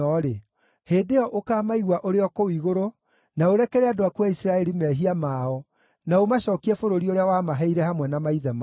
hĩndĩ ĩyo ũkaamaigua ũrĩ o kũu igũrũ na ũrekere andũ aku a Isiraeli mehia mao na ũmacookie bũrũri ũrĩa wamaheire hamwe na maithe mao.